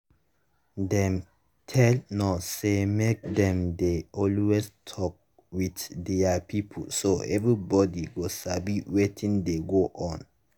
dem tell nurses say make dem dey always talk with their pipo so everybody go sabi wetin dey go on.